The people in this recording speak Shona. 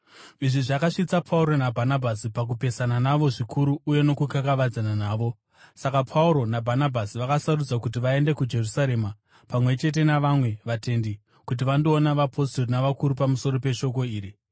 Izvi zvakasvitsa Pauro naBhanabhasi pakupesana navo zvikuru uye nokukakavadzana navo. Saka Pauro naBhanabhasi vakasarudzwa kuti vaende kuJerusarema pamwe chete navamwe vatendi, kuti vandoona vapostori navakuru pamusoro peshoko iri.